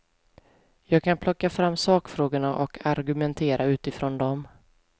Jag kan plocka fram sakfrågorna och argumentera utifrån dem.